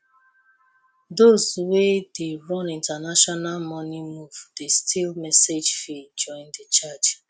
those wey dey run international money move dey still message fee join the charge